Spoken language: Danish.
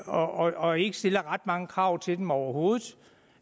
og ikke stiller ret mange krav til dem overhovedet